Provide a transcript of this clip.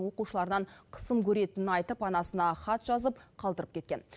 оқушыларынан қысым көретінін айтып анасына хат жазып қалдырып кеткен